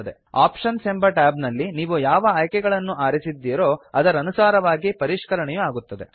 options ಎಂಬ tab ನಲ್ಲಿ ನೀವು ಯಾವ ಆಯ್ಕೆಗಳನ್ನು ಆರಿಸಿದ್ದೀರೋ ಅದರನುಸಾರವಾಗಿ ಪರಿಷ್ಕರಣೆಯು ಆಗುತ್ತದೆ